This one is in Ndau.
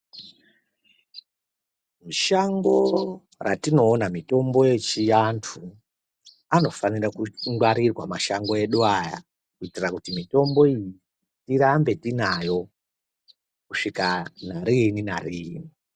Mushango ratinoona mitombo yechiantu , anofanira kungwarirwa mashango edu aya kuitira kuti mitombo iyi tirambe tinayo kusvika nariini nariini .